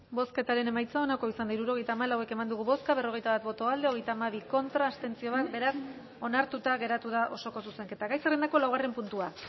bozketaren emaitza onako izan da hirurogeita hamalau eman dugu bozka berrogeita bat boto alde hogeita hamabi contra bat abstentzio beraz onartuta geratu da osoko zuzenketa gai zerrendako laugarren puntua